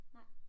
Nej